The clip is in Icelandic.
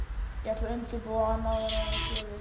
Ég ætla að undirbúa hann áður en hann sér þig